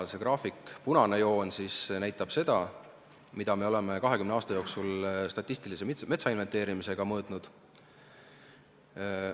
Graafiku punane joon näitab seda, mida me oleme 20 aasta jooksul statistilise metsainventeerimise käigus mõõtnud.